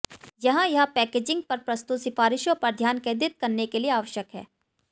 यहाँ यह पैकेजिंग पर प्रस्तुत सिफारिशों पर ध्यान केंद्रित करने के लिए आवश्यक है